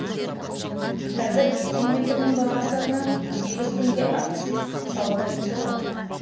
қазір бензин литрінің бағасына сегіз теңге акциз салығы қосылған